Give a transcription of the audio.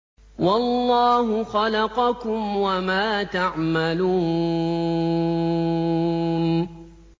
وَاللَّهُ خَلَقَكُمْ وَمَا تَعْمَلُونَ